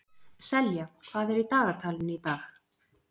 Selja, hvað er í dagatalinu í dag?